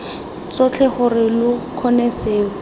tsotlhe gore lo kgone seo